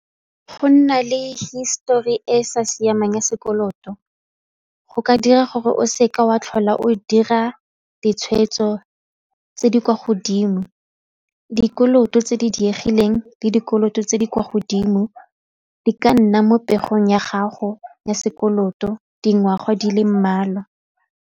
Go nna le histori e sa siamang ya sekoloto go ka dira gore o seke wa tlhola o dira ditshweetso tse di kwa godimo, dikoloto tse di diegileng le dikoloto tse di kwa godimo di ka nna mo popegong ya gago ya sekoloto dingwaga di le mmalwa.